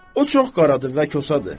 O çox qaradır və kosadır.